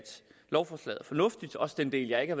lovforslaget er fornuftigt også den del jeg ikke